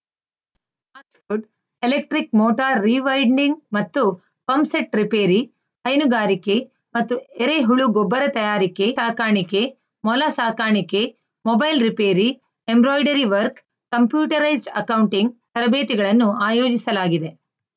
fast food electric motor rewinding ಮತ್ತು pump set repair ಹೈನುಗಾರಿಕೆ ಮತ್ತು ಎರೆಹುಳು ಗೊಬ್ಬರ ತಯಾರಿಕೆ ಕುರಿ ಸಾಕಾಣಿಕೆ ಮೊಲ ಸಾಕಾಣಿಕೆ mobile repair embroidery work computerised accounting ತರಬೇತಿಗಳನ್ನು ಆಯೋಜಿಸಲಾಗಿದೆ